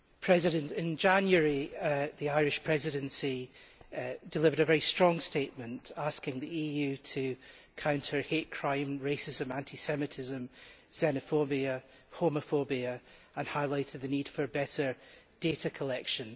Mr President, in January the Irish Presidency delivered a very strong statement asking the EU to counter hate crime, racism, anti Semitism, xenophobia and homophobia and highlighted the need for better data collection.